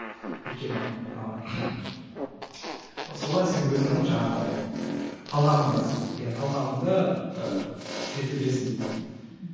өйткені ы солай сен өзіңнің жаңағы талғамыңды кәсіби иә талғамыңды ыыы жетілдіресің дейтін мхм